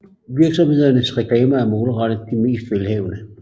Virksomhedernes reklamer er målrettet de mest velhavende